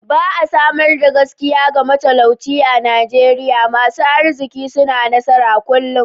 Ba'a samar da gaskiya ga matalauci a'Nijeriya. Masun arzikin suna nasara kullum.